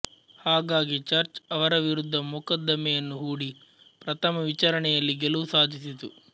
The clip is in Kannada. ಹಾಗಾಗಿ ಚರ್ಚ್ ಅವರ ವಿರುದ್ದ ಮೊಕದ್ದಮೆಯನ್ನು ಹೂಡಿ ಪ್ರಥಮ ವಿಚಾರಣೆಯಲ್ಲಿ ಗೆಲುವು ಸಾಧಿಸಿತು